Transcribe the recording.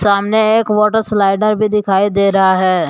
सामने एक water slider भी दिखाई दे रहा है।